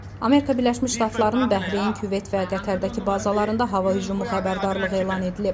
Amerika Birləşmiş Ştatlarının Bəhreyn, Küveyt və Qətərdəki bazalarında hava hücumu xəbərdarlığı elan edilib.